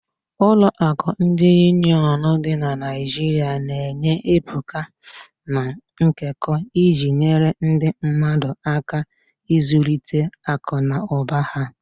Ụlọ akụ ndi Union dị na Naijiria na-enye ebuka, na nkekọ, iji nyere ndị mmadu aka ịzụlite akụ na ụba ha.